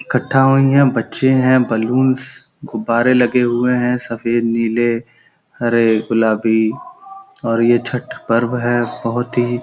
इकठ्ठा हुई हैं। बच्चे हैं। बैलून्स गुब्बारे लगे हुए हैं सफ़ेद नीले हरे गुलाबी और ये छत पर्व है बहुत ही --